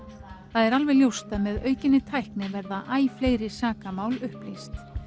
það er alveg ljóst að með aukinni tækni verða æ fleiri sakamál upplýst